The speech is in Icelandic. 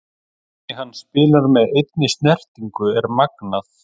Hvernig hann spilar með einni snertingu er magnað.